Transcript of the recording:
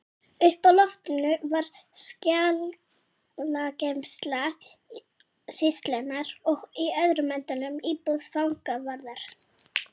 Uppi á loftinu var skjalageymsla sýslunnar og í öðrum endanum íbúð fangavarðar.